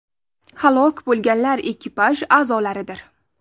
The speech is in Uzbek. Halok bo‘lganlar ekipaj a’zolaridir.